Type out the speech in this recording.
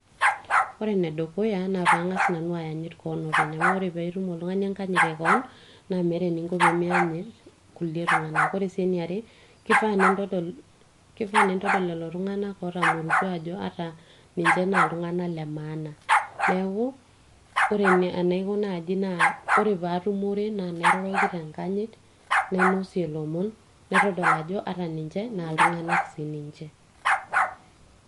ore enedukuya naa pang'as nanu ayanyit koon openy amu ore piitum oltung'ani enkanyit ekoon naa meeta eninko pemianyit kulie tung'anak ore sii eniare kifaa nintodol lelo tung'anak otamorutua ajo ata ninche naa iltung'anak le maana neeku ore enaiko naaji naa ore paatumore naa kairoroki tenkanyit nainosie ilomon naitodol ajo ata ninche naa iltung'anak sininche.